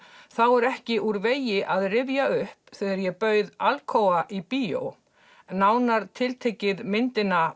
þá er ekki úr vegi að rifja upp þegar ég bauð Alcoa í bíó nánar tiltekið myndina